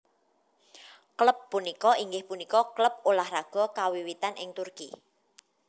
Klub punika inggih punika klub ulah raga kawiwitan ing Turki